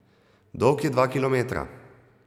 Dolg je dva kilometra.